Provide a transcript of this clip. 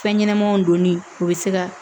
Fɛn ɲɛnɛmanw donni o be se ka